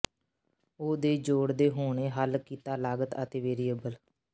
ਉਹ ਦੇ ਜੋੜ ਦੇ ਹੋਣੇ ਹੱਲ ਕੀਤਾ ਲਾਗਤ ਅਤੇ ਵੇਰੀਏਬਲ